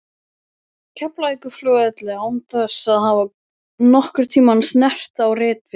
Keflavíkurflugvelli án þess að hafa nokkurn tímann snert á ritvél.